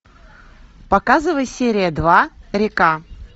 показывай серия два река